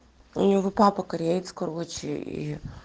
у него папа кореец короче ии